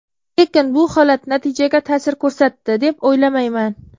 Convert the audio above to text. Lekin bu holat natijaga ta’sir ko‘rsatdi, deb o‘ylamayman.